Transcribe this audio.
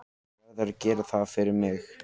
Verður að gera það fyrir mig.